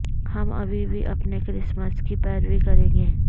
ہم ابھی بھی اپنے کرسمس کی پیروی کریں گے